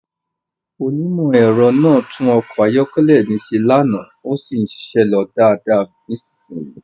Onímọ̀-ẹ̀rọ náà tún ọkọ̀ ayọ́kẹ́lẹ́ mi ṣe lánàá, ó sì ń ṣiṣẹ́ lọ dáadáa nísìnyìí.